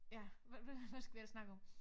Ja hvad hvad skal vi ellers snakke om